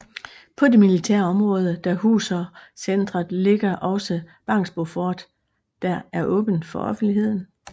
På det militære område der huser centeret ligger også Bangsbo Fort der er åbent for offentligheden